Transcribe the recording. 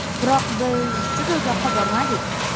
Biroq biz juda uzoqqa bormadik.